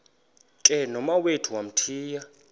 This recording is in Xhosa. ke nomawethu wamthiya